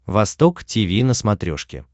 восток тиви на смотрешке